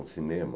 O cinema.